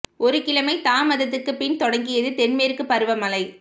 ஒரு கிழமை தாமதத்துக்குப் பின் தொடங்கியது தென் மேற்குப் பருவ மழை